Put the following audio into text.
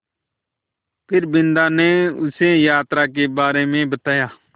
फिर बिन्दा ने उसे यात्रा के बारे में बताया